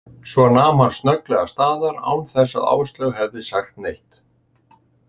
Svo nam hann snögglega staðar, án þess að Áslaug hefði sagt neitt.